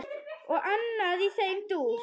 Og annað í þeim dúr.